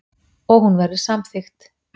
Og hún verður samþykkt.